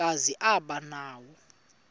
kazi aba nawo